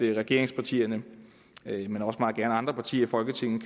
regeringspartierne men også meget gerne andre partier i folketinget